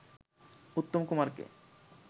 উত্তম কুমারকে